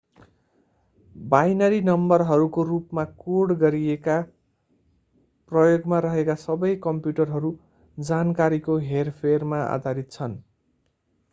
binary नम्बरहरूको रूपमा code गरिएका प्रयोगमा रहेका सबै कम्प्युटरहरू जानकारीको हेरफेरमा आधारित छन्